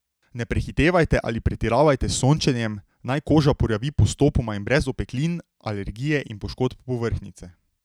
Ne prehitevajte ali pretiravajte s sončenjem, naj koža porjavi postopoma in brez opeklin, alergije ali poškodb povrhnjice.